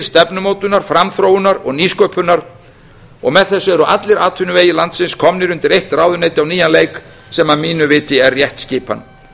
stefnumótunar framþróunar og nýsköpunar og með þessu eru allir atvinnuvegir landsins komnir undir eitt ráðuneyti á nýjan leik sem að mínu viti er rétt skipan